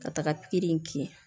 Ka taga pikiri in kin